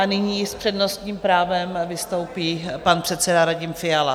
A nyní s přednostním právem vystoupí pan předseda Radim Fiala.